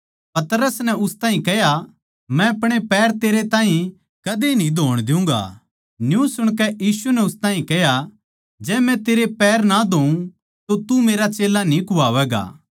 पतरस नै उस ताहीं कह्या मै अपणे पैर तेरे ताहीं कदे न्ही धोण दियुँगा न्यू सुणकै यीशु नै उस ताहीं कह्या जै मै तेरे पैर ना धोऊँ तो तू मेरा चेल्ला न्ही कुह्वावैगा